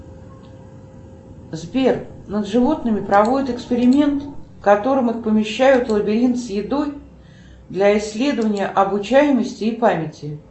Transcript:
сбер над животным проводят эксперимент в котором их помещают в лабиринт с едой для исследования обучаемости и памяти